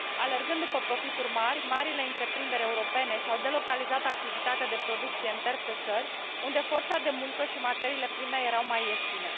Alergând după profituri mari, marile întreprinderi europene și au delocalizat activitatea de producție în terțe țări, unde forța de muncă și materiile prime erau mai ieftine.